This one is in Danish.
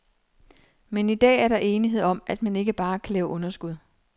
Men i dag er der enighed om, at man ikke bare kan lave underskud.